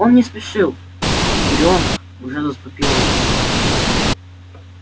он не спешил тигрёнок уже заступила на дежурство